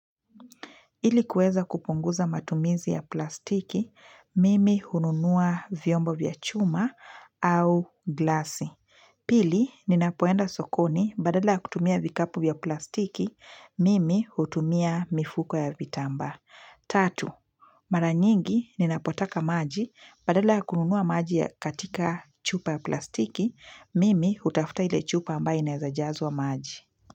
Ili kueza kupunguza matumizi ya plastiki, mimi hununua vyombo vya chuma au glasi. Pili, ninapoenda sokoni badala ya kutumia vikapu vya plastiki, mimi hutumia mifuko ya vitamba. Tatu, mara nyingi ninapotaka maji badala ya kununua maji katika chupa ya plastiki, mimi hutafuta ile chupa ambayo inaeza jazwa maji.